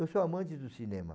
Eu sou amante do cinema.